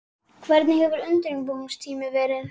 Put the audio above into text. Hvernig hefur undirbúningstímabilið verið?